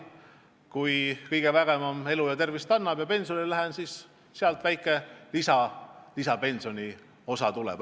Kui kõigevägevam elu ja tervist annab ja ma millalgi pensionile lähen, siis sealt väike lisaraha tuleb.